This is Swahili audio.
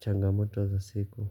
changamoto za siku.